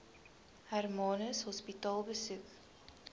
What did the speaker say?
hermanus hospitaal besoek